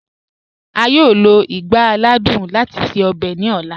A yọọ lọ igbá àlàdùn láti ṣẹ ọ̀bẹ̀ ni ọla.